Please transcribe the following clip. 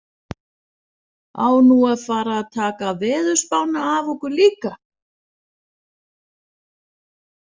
Á nú að fara að taka veðurspána af okkur líka?